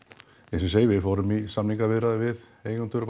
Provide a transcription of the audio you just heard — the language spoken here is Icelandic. eins og ég segi við fórum í samningaviðræður við eigendur